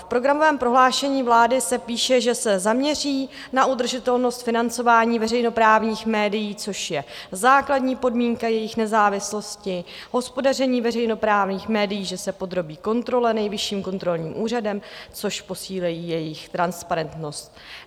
V programovém prohlášení vlády se píše, že se zaměří na udržitelnost financování veřejnoprávních médií, což je základní podmínka jejich nezávislosti, hospodaření veřejnoprávních médií že se podrobí kontrole Nejvyšším kontrolním úřadem, což posílí jejich transparentnost.